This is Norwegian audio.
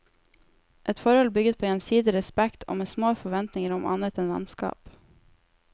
Et forhold bygget på gjensidig respekt og med små forventninger om annet enn vennskap.